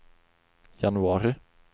januari